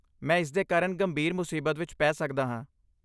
ਮੈਂ ਇਸਦੇ ਕਾਰਨ ਗੰਭੀਰ ਮੁਸੀਬਤ ਵਿੱਚ ਪੈ ਸਕਦਾ ਹਾਂ।